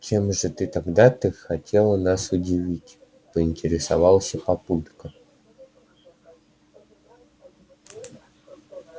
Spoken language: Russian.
чем же тогда ты хотела нас удивить поинтересовался папулька